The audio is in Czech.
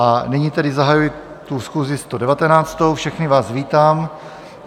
A nyní tedy zahajuji tu schůzi 119., všechny vás vítám.